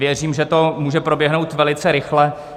Věřím, že to může proběhnout velice rychle.